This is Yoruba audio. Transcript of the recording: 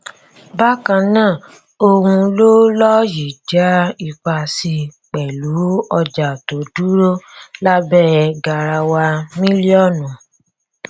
bákan náà ohun ló lọ yìí já ipa sí pẹlú ọjà tó dúró lábẹ garawa mílíọnù